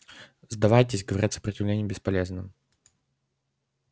сдавайтесь говорят сопротивление бесполезно